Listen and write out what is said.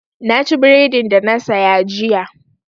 Na ci bredin da na saya jiya.